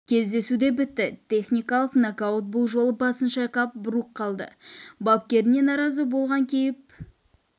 кездесу де бітті техникалық нокаут бұл жолы басын шайқап брук қалды бапкеріне наразы болған кейіп